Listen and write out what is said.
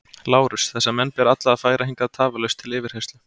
LÁRUS: Þessa menn ber alla að færa hingað tafarlaust til yfirheyrslu.